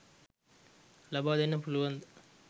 ලබා දෙන්න පුළුවන්ද?